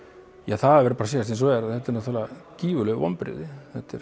það verður að segjast eins og er að þetta eru gífurleg vonbrigði þetta er